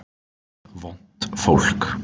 Vont fólk